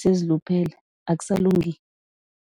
seziluphele akusalungi.